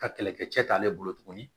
Ka kɛlɛkɛcɛ t'ale bolo tuguni